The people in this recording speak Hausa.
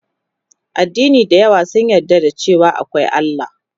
Addini da yawa sun yarda da cewa akwai Allah